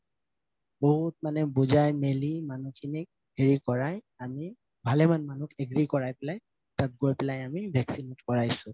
বহুত মানে বুজাই মিলি মানুহখিনি হেৰি কৰাই আমি ভালেমান মানুহক agree কৰাই পেলাই তাত গৈ পেলাই আমি vaccinate কৰাইছো